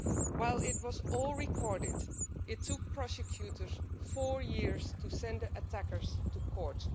While it was all recorded, it took prosecutors four years to send the attackers to court.